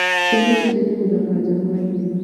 Ciana ciendete gũthaka nja hwainĩ.